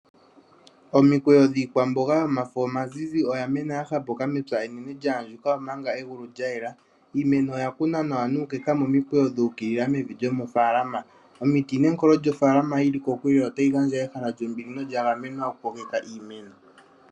Omikweyo dhiikwamboga yomafo omazizi oya mena ya hapuka nawa mepya enene lya andjuka, omanga egulu lya yela. Iimeno oya kunwa nawa nuukeka momikweyo dhu ukilila mevi lyomofaalama. Omiti nenkolo lyomofaalama yi li kokule otayi gandja ehala lyombili nolya gamenwa oku kokeka iimeno.